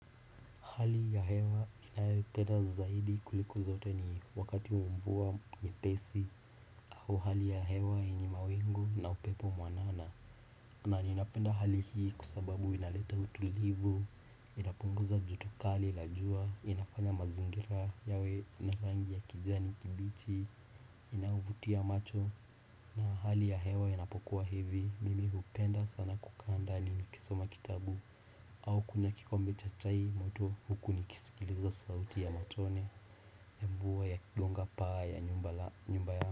Hali ya hewa ninayoipenda zaidi kuliko zote ni wakati wa mvuwa nyepesi au hali ya hewa yenye mawingu na upepo mwanana. Na ninapenda hali hii kusababu inaleta utulivu, inapunguza jutokali lajua, inafanya mazingira yawe na rangi ya kijani kibichi, inayovutia macho. Na hali ya hewa yanapokuwa hivi, mimi hupenda sana kukaandani nikisoma kitabu au kunywakikombe chachai moto hukunikisikiliza sauti ya matone ya mvua ya kigonga paa ya nyumbaya.